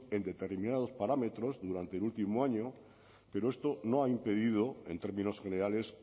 en determinado parámetros durante el último año pero esto no ha impedido en términos generales